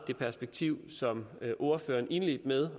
det perspektiv som ordføreren indledte med